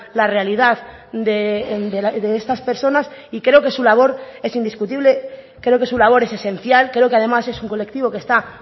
la realidad de estas personas y creo que su labor es indiscutible creo que su labor es esencial creo que además es un colectivo que está